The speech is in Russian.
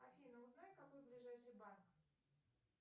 афина узнай какой ближайший банк